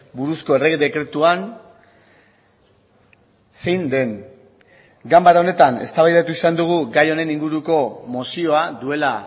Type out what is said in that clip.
buruzko errege dekretuan zein den ganbara honetan eztabaidatu izan dugu gai honen inguruko mozioa duela